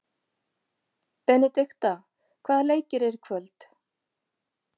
Benidikta, hvaða leikir eru í kvöld?